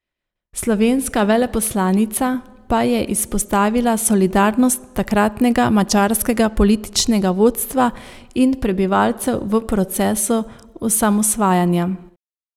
Slovenska veleposlanica pa je izpostavila solidarnost takratnega madžarskega političnega vodstva in prebivalcev v procesu osamosvajanja.